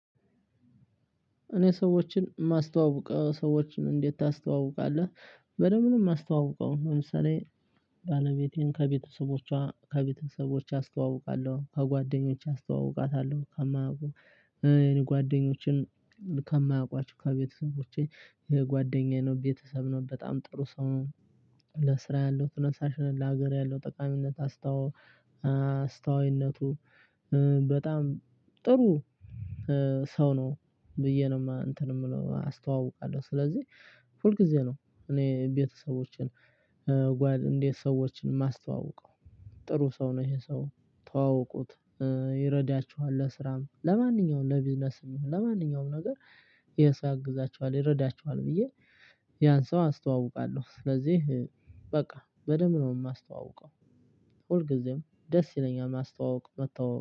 እኔ ሰዎችን የማስተዋውቀው ሰዎችን እንዴት ታስተዋውቃለህ? በደንብ ነው የማስተዋውቀው። ለምሳሌ ባለቤቴን ከቤተሰቦቿ ከቤተሰቦቿ አስተዋውቃለሁ ከጓደኞቼ አስተዋውቃታለሁ ከማውቁ። እኔ ጓደኞቼን ከማውቋቸው ከቤተሰቦቼ ጓደኛዬ ነው ቤተሰብ ነው በጣም ጥሩ ሰው ነው። ለስራ ያለው ተነሳሽነት ለሀገር ያለው ጠቃሚነት አስታው አስታውይነቱ በጣም ጥሩ። ሰው ነው ብዬ ነው እንትን የምለው አስተዋውቃለሁ። ስለዚህ ሁል ጊዜ ነው እኔ ቤተሰቦቼን ጓድ እንዴት ሰዎችን ማስተዋወቀው? ጥሩ ሰው ነው ይሄ ሰው። ተዋወቁት ይረዳችኋል። ለስራም ለማንኛውም ለቢዝነስም ለማንኛውም ነገር የሰው አግዛችኋል ይረዳችኋል ብዬ ያን ሰው አስተዋውቃለሁ። ስለዚህ በቃ በደንብ ነው የማስተዋውቀው። ሁልጊዜም ደስ ይለኛል ማስተዋወቅ መተዋወቅ